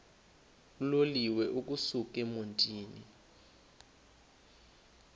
uloliwe ukusuk emontini